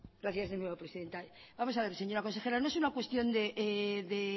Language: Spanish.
gracias señora presidenta vamos a ver señora consejera no es una cuestión de